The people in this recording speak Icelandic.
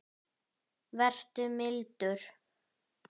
Vertu mildur.